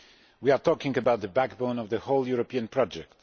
We are talking about the backbone of the whole European project.